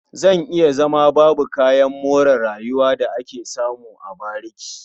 Zan iya rayuwa babu kayan more rayuwa da ake samu a bariki.